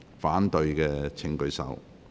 反對的請舉手。